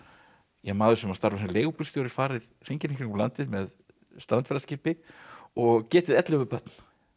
maður sem starfar sem leigubílstjóri farið hringinn í kringum landið með og getið ellefu börn